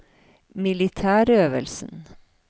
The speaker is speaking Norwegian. militærøvelsen